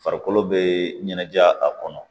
Farikolo bɛ ɲɛnajɛ a kɔnɔ